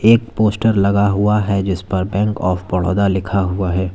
एक पोस्टर लगा हुआ है जिसपर बैंक ऑफ बड़ौदा लिखा हुआ है।